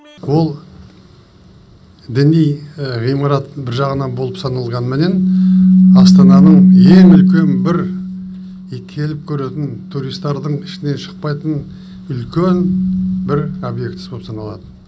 ол діни ғимарат бір жағынан болып саналғанымен астананың ең үлкен бір и келіп көретін туристардің ішінен шықпайтын үлкен бір объектісі болып саналады